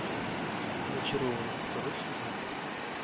зачарованные второй сезон